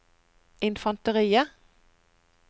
infanteriet